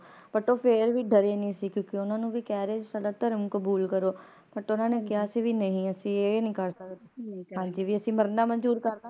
But ਉਹ ਫੇਰ ਵੀ ਡਰੇ ਨਹੀਂ ਸੀ ਕਿਉਕਿ ਓਹਨਾ ਨੂੰ ਵੀ ਕਹਿ ਰਹੇ ਸੀ ਕਿ ਸਾਡਾ ਧਰਮ ਕਾਬੁਲ ਕਰੋ But ਕਿਹਾ ਸੀ ਵੀ ਨਹੀਂ ਅਸੀਂ ਇਹ ਨਹੀਂ ਕਰ ਸਕਦੇ ਹਾਂਜੀ ਵੀ ਅਸੀਂ ਮਰਨਾ ਮੰਜੂਰ ਕਰਲਾਂਗੇ